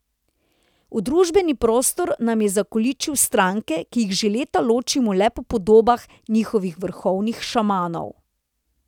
V družbeni prostor nam je zakoličil stranke, ki jih že leta ločimo le po podobah njihovih vrhovnih šamanov.